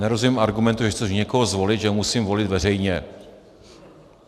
Nerozumím argumentu, když chci někoho zvolit, že musím volit veřejně.